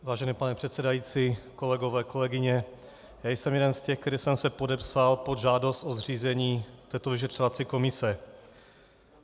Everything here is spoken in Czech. Vážený pane předsedající, kolegové, kolegyně, já jsem jeden z těch, který jsem se podepsal pod žádost o zřízení této vyšetřovací komise.